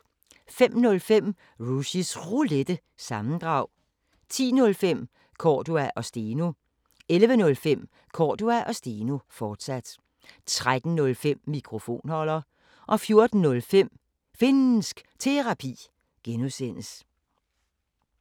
05:05: Rushys Roulette – sammendrag 10:05: Cordua & Steno 11:05: Cordua & Steno, fortsat 13:05: Mikrofonholder 14:05: Finnsk Terapi (G)